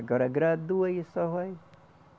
Agora agradou aí só vai.